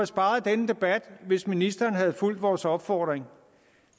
sparet denne debat hvis ministeren havde fulgt vores opfordring